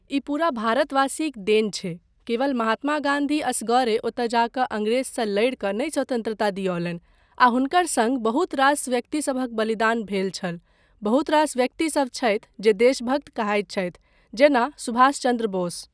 ई पूरा भारतवासीक देन छै, केवल महत्मा गाँधी एसगरे ओतय जा कऽ अंग्रेजसँ लड़ि कऽ नहि स्वतन्त्रता दियौलनि आ हुनकर सङ्ग बहुत रास व्यक्तिसभक बलिदान भेल छल, बहुत रास व्यक्तिसभ छथि जे देशभक्त कहाइत छथि जेना सुभाषचन्द्र बोस।